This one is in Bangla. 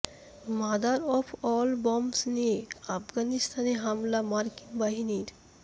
মাদার অফ অল বম্বস নিয়ে আফগানিস্তানে হামলা মার্কিন বাহিনীর